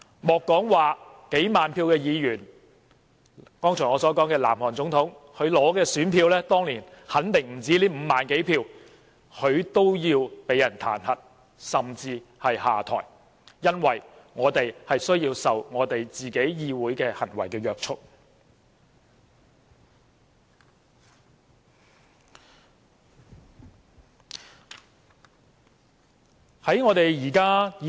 莫說是得到數萬張選票的議員，我剛才舉例提到的南韓總統，她當年得到的選票肯定不止5萬多票，但她也要遭受彈劾，甚至是下台，因為由人民選出的代表的行為需要受到約束。